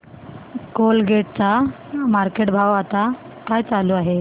Colgate चा market भाव आता काय चालू आहे